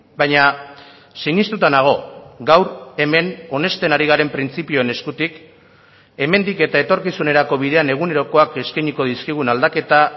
baina sinestuta nago gaur hemen onesten ari garen printzipioen eskutik hemendik eta etorkizunerako bidean egunerokoak eskainiko dizkigun aldaketa